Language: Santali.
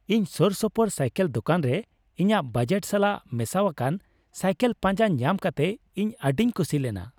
ᱤᱧ ᱥᱳᱨᱥᱳᱯᱳᱨ ᱥᱟᱭᱠᱮᱞ ᱫᱳᱠᱟᱱ ᱨᱮ ᱤᱧᱟᱹᱜ ᱵᱟᱡᱮᱴ ᱥᱟᱞᱟᱜ ᱢᱮᱥᱟᱣᱟᱠᱟᱱ ᱥᱟᱭᱠᱮᱞ ᱯᱟᱧᱡᱟ ᱧᱟᱢ ᱠᱟᱛᱮ ᱤᱧ ᱟᱹᱰᱤᱧ ᱠᱩᱥᱤ ᱞᱮᱱᱟ ᱾